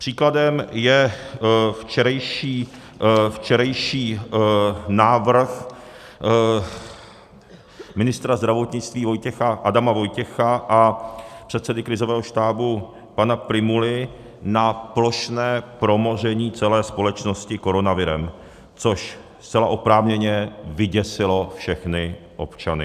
Příkladem je včerejší návrh ministra zdravotnictví Adama Vojtěcha a předsedy krizového štábu pana Prymuly na plošné promoření celé společnosti koronavirem, což zcela oprávněně vyděsilo všechny občany.